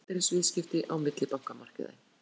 Aðeins ein gjaldeyrisviðskipti á millibankamarkaði